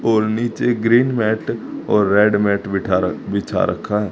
और नीचे green mat और रेड मैट बैठा बिछा रखा है।